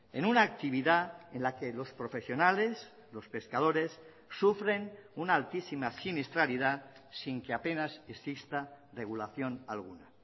en una actividad en la que los profesionales los pescadores sufren una altísima siniestralidad sin que apenas exista regulación alguna